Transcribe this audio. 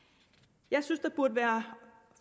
jeg synes at der burde være